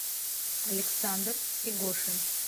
александр игошин